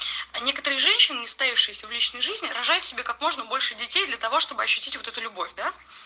а некоторые женщины не состоявшиеся в личной жизни рожают себе как можно больше детей для того чтобы ощутить вот эту любовь да